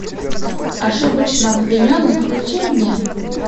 ошибочно обвиненный включи мне